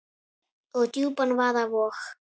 og djúpan vaða vog.